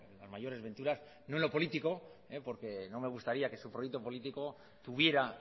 las mayores venturas no en lo político porque no me gustaría que su proyecto político tuviera